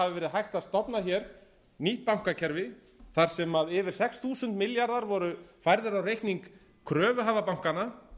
hafi verið hægt að stofna hér nýtt bankakerfi þar sem yfir sex þúsund milljarðar voru færðir á reikning kröfuhafa bankanna